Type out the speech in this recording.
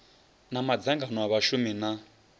na madzangano a vhashumi na